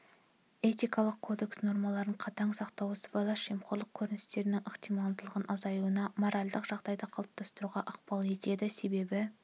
этикалық кодекс нормаларын қатаң сақтау сыбайлас жемқорлық көріністерінің ықтималдығының азаюына моральдық жағдайды қалыптастыруға ықпал етеді себебі